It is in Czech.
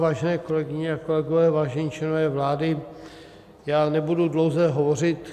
Vážené kolegyně a kolegové, vážení členové vlády, já nebudu dlouze hovořit.